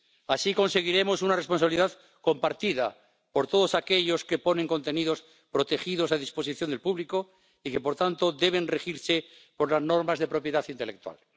Así conseguiremos una responsabilidad compartida por todos aquellos que ponen contenidos protegidos a disposición del público y que, por tanto, deben regirse por las normas de propiedad intelectual.